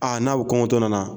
Aa n'a bɛ kɔngɔntɔ nana.